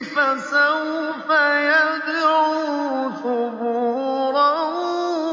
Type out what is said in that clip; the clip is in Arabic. فَسَوْفَ يَدْعُو ثُبُورًا